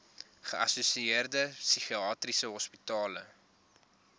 geassosieerde psigiatriese hospitale